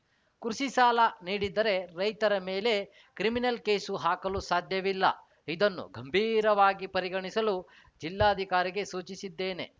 ಕೃಷಿ ಸಾಲ ನೀಡಿದ್ದರೆ ರೈತರ ಮೇಲೆ ಕ್ರಿಮಿನಲ್‌ ಕೇಸು ಹಾಕಲು ಸಾಧ್ಯವಿಲ್ಲ ಇದನ್ನು ಗಂಭೀರವಾಗಿ ಪರಿಗಣಿಸಲು ಜಿಲ್ಲಾಧಿಕಾರಿಗೆ ಸೂಚಿಸಿದ್ದೇನೆ